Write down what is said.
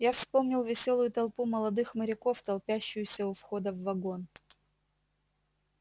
я вспомнил весёлую толпу молодых моряков толпящуюся у входа в вагон